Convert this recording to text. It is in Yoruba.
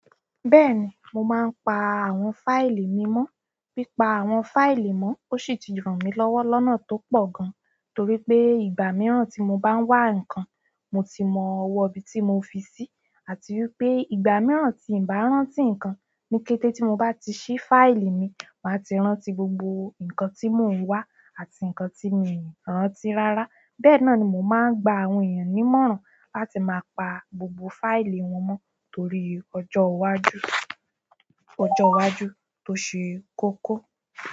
Bẹ́ẹ̀ni, mo máa ń pa àwọn fáìlì mi mọ́. Pípá àwọn fáìlì mọ́ ó sì ti ràn mí lọ́wọ́ lọ́nà tó pọ̀ gan, torí pé ìgbà mìíràn tí mo bá ń wá ǹkan, mo ti mọ ọwọ́ ibi tí mo fi sí, àti wípé ìgbà mìíràn tí ǹ bá rántí ǹkan ní kété tí mo bá ti ṣí fáìlì mi, màá ti rántí gbogbo ǹkan tí mò ń wá àti ǹkan tí mi rántí rárá. Bẹ́ẹ̀ náà ni mo máa ń gba àwọn èyàn nímọ̀ràn láti máa pa gbogbo fáìlì wọn mọ́ torí ọjọ́ iwájú, ọjọ́ iwájú tó ṣe kókó.